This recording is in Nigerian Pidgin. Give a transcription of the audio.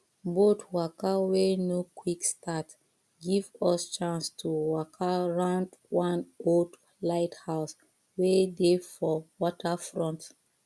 boat waka wey no quick start give us chance to waka round one old lighthouse wey dey for waterfront